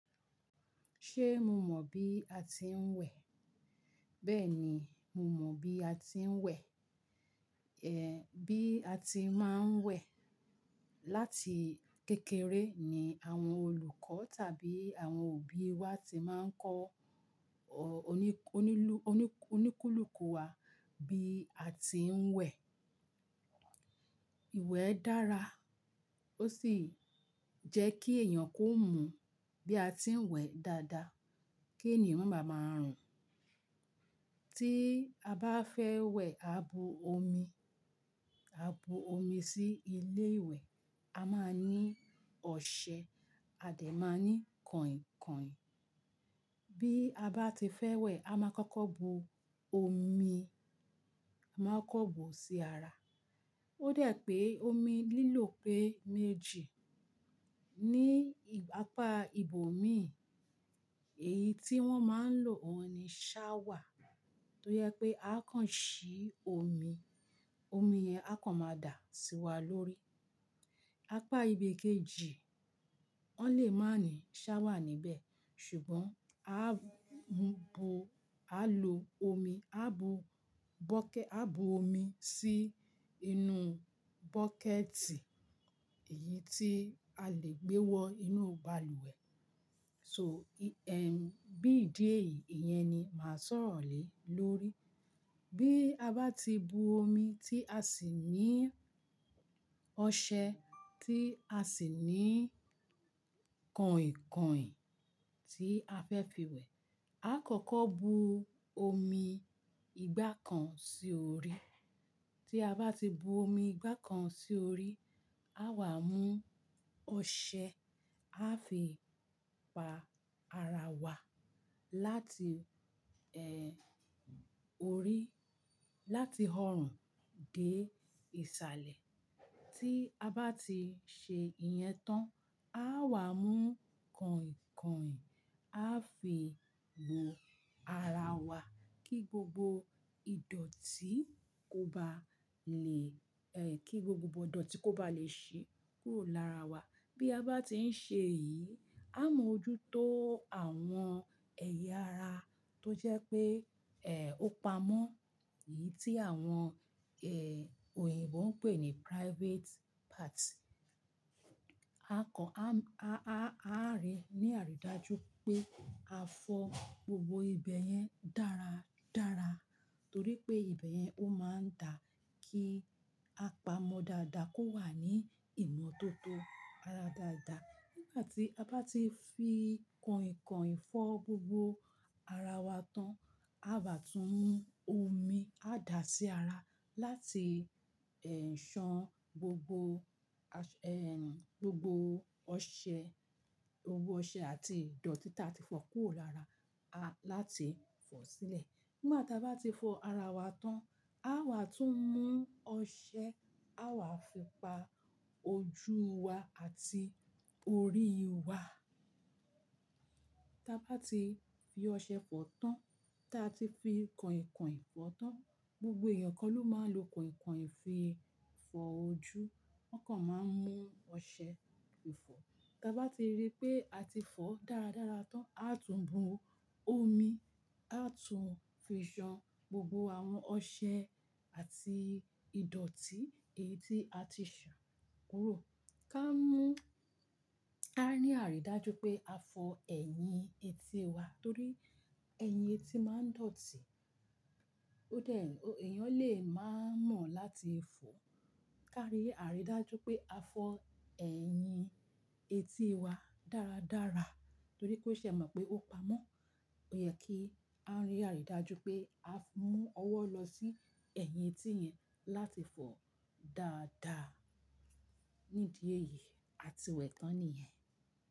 Ṣé mo mọ̀ bí a ti ń wẹ̀? Bẹ́ẹ̀ni, mo mọ bí a ti ń wẹ̀, eh, bí a ti máa ń wẹ̀. Láti kékeré ni àwọn olùkọ́ tàbí àwọn òbí wa ti máa ń kọ́ oní-onílù-oní-oníkúlùkù wa bí a ti ń wẹ̀. Ìwẹ̀ dára, ó sì jẹ́ kí èèyàn kó mú bí a ti ń wẹ̀ dáadáa kí ènìyàn máa máa rùn. Tí a bá fẹ́ wẹ̀, a bo omi, a bo omi sí ilé ìwẹ̀, a máa ní ọṣẹ, a dà máa ní kọ̀ìnkọ̀ìn. Bí a bá ti fẹ́ wẹ̀, a máa kọ́kọ́ bo omi, a máa kọ́kọ́ bu sí ara. Ó dẹ̀ pé omi lílò pé méjì. Ni apá ibòmín, èyí tí wọ́n máa ń lò òun ni shower, tó yẹ pé a kàn ṣí omi, omi yẹn a kàn máa dà sí wa lórí. Apá ibè kéjì, wọ́n lè má ní shower níbẹ̀, ṣùgbọ́n a ń bo, a lo omi, a bo bọ́kẹ̀, a bo omi sí inú bọ́kẹ̀tì, èyí tí a lè gbé wọ inú balùwẹ̀. So, ehn, bí ìdí èyí, ìyẹn ni màá sọ̀rọ̀ lé lórí. Bí a bá ti bu omi tí a sì ní ọṣẹ, tí a sì ní kọ̀ìnkọ̀ìn tí a fẹ́ fi wẹ̀, a kọ́kọ́ bu omi ìgbà kan sí orí. Tí a bá ti bu omi ìgbà kan sí orí, a wà mú ọṣẹ, a fi pa ara wa láti, ehn, orí, láti ọrùn dé ìsàlẹ̀. Tí a bá ti ṣe ìyẹn tán, a wà mú kọ̀ìnkọ̀ìn, a fi bo ara wa kí gbogbo ìdọ̀tí kó ba lè, eh, kí gbogbo ìdọ̀tí kó ba lè ṣe kúrò lára wa. Bí a bá ti ń ṣe èyí, á mọ ojú tó àwọn ẹ̀yà ara tó jẹ́ pé, eh, ó pamọ́, èyí tí àwọn, ehn, òyìnbó ń pè ní private parts. A kàn a-a-a á rí ní àrídájú pé a fọ́ gbogbo ibẹ̀ yẹn dára dára torí pé ibẹ̀ yẹn ó máa ń dà kí a pamọ́ dáadáa kó wà ní ìmọ̀ tó tó ara dáadáa. Nígbà tí a bá ti fi kọ̀ìnkọ̀ìn fọ́ gbogbo ara wa tán, a báa tún mú omi, a dà sí ara láti, ehn, ṣan gbogbo ehn, gbogbo ọṣẹ, gbogbo ọṣẹ àti ìdọ̀tí tí a ti fọ kúrò lára a láti fọ̀ sílẹ̀. Nígbà tí a bá ti fọ ara wa tán, a wà tún mú ọṣẹ, a wà fi pa ojú wa àti orí wa. Tí a bá ti fi ọṣẹ fọ tán, tí a ti fi kọ̀ìnkọ̀ìn fọ tán, gbogbo èèyàn kọ́ ló máa lo kọ̀ìnkọ̀ìn fi fọ ojú, wọ́n kàn máa ń mú ọṣẹ fi fọ. Tí a bá ti rí pé a ti fọ dáradára tán, a tún bu omi, a tún fi ṣan gbogbo àwọn ọṣẹ àti ìdọ̀tí èyí tí a ti ṣàn kúrò. Ká mú, a rí àrídájú pé a fọ ẹ̀yìn etí wa torí ẹ̀yìn etí máa ń dọ̀tí. Ó dẹ̀, èèyàn lè má mọ̀ láti fọ̀. Ká rí àrídájú pé a fọ ẹ̀yìn etí wa dáradára torí pé ṣẹ̀ mọ̀ pé ó pamọ́. Ó yẹ kí a rí àrídájú pé a mú ọwọ́ lọ sí ẹ̀yìn etí yẹn láti fọ dáadáa. Ní ìdí èyí, a ti wẹ̀ tán nìyẹn.